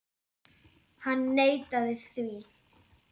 Hann neitaði því.